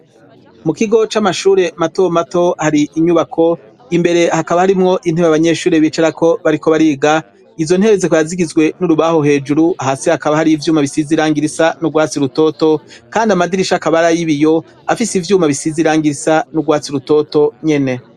mu kigo c'amashure mato mato hari inyubako imbere hakaba harimwo intebe abanyeshure bicarako bariko bariga izo ntebe zikaba zigizwe n'urubaho hejuru hasi hakaba hari ivyuma bisize irangi risa n'u gwatsi rutoto kandi amadirisha akaba ar'ibiyo afise ivyuma bisize irangi risa n'ugwatsi rutoto nyene